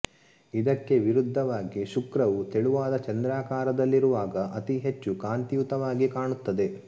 ಇದಕ್ಕೆ ವಿರುದ್ಧವಾಗಿ ಶುಕ್ರವು ತೆಳುವಾದ ಚಂದ್ರಾಕಾರದಲ್ಲಿರುವಾಗ ಅತಿ ಹೆಚ್ಚು ಕಾಂತಿಯುತವಾಗಿ ಕಾಣುತ್ತದೆ